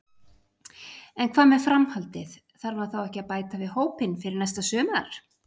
En hvað með framhaldið, þarf hann þá ekki að bæta við hópinn fyrir næsta sumar?